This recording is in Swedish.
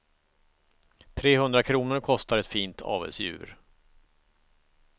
Trehundra kronor kostar ett fint avelsdjur.